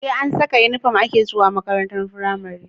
SE an Saka inufom ake zuwa makarantar pramari